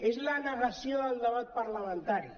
és la negació del debat parlamentari